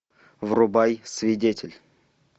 врубай свидетель